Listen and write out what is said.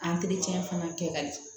fana kɛ ka ɲɛ